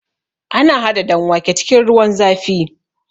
Ana haɗa danwake cikin ruwan zafi